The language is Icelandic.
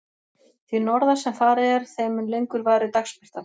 Því norðar sem farið er, þeim mun lengur varir dagsbirtan.